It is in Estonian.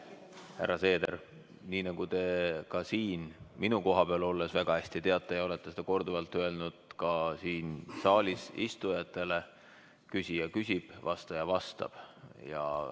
Härra Seeder, nii nagu te ise siin minu koha peal olnuna väga hästi teate ja olete seda ka saalis istujatele korduvalt öelnud: küsija küsib, vastaja vastab.